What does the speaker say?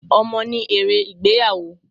Ọmọ ní èrè ìgbéyàwó.